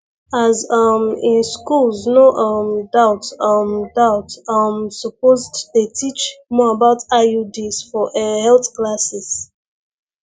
as um in schools no um doubt um doubt um supposed dey teach more about iuds for eh health classes